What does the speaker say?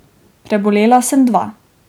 Prebolela sem dva.